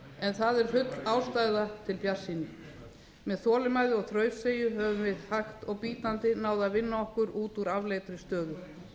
en það er full ástæða til bjartsýni með þolinmæði og þrautseigju höfum við hægt og bítandi náð að vinna okkur út úr afleitri stöðu